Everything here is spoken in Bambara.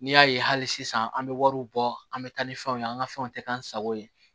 N'i y'a ye hali sisan an bɛ wariw bɔ an bɛ taa ni fɛnw ye an ka fɛnw tɛ k'an sago ye